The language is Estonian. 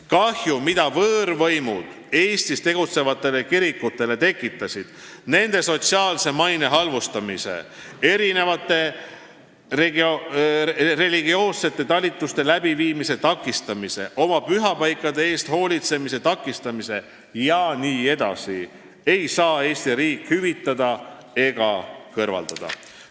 Kahju, mida võõrvõimud Eestis tegutsevatele kirikutele tekitasid nende sotsiaalse maine halvustamise, erinevate religioossete talituste läbiviimise takistamise, pühapaikade eest hoolitsemise takistamisega jne, ei saa Eesti riik hüvitada ega kõrvaldada.